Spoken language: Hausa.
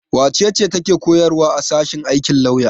Wace ce take koyarwa a sashen aikin lauya?